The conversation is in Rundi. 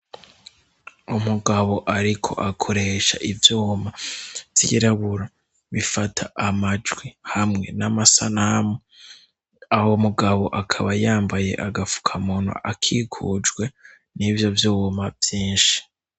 Umugabo ariko akoresha ivyuma vy'irabura bifata amajwi hamwe n'amasanamu, uwo mugabo akaba yambaye agafuka muntu akigujwe n'ivyo vyuma vyinshi.